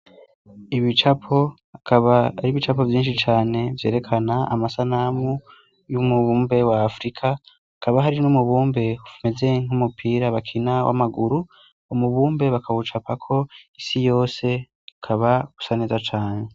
ibicapo akaba ari ibicapo vyinshi cane vyerekana amasanamu y'umubumbe wa afurika kaba hari n'umubumbe meze nk'umupira bakina w'amaguru umubumbe bakawucapako isi yose kaba usaneza cane